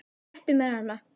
Réttu mér hana